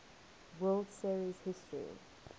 world series history